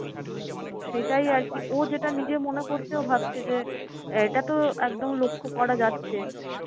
তো সেটাই আরকি ও যেটা নিজে মনে করছে ও ভাবছে যে এটা তো একদম লক্ষ্য করা যাচ্ছে।